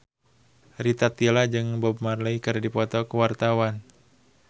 Rita Tila jeung Bob Marley keur dipoto ku wartawan